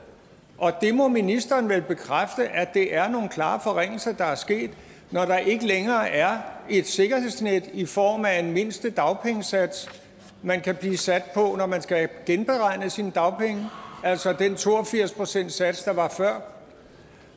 det må ministeren vel bekræfte altså at det er nogle klare forringelser der er sket når der ikke længere er et sikkerhedsnet i form af en mindste dagpengesats man kan blive sat på når man skal have genberegnet sine dagpenge altså den to og firs procentssats der var før